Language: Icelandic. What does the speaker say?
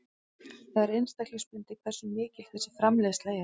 Það er einstaklingsbundið hversu mikil þessi framleiðsla er.